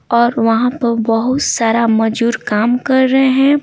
और वहाँ पर बहुत सारा मजदूर काम कर रहा है।